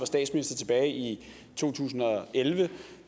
statsminister tilbage i to tusind og elleve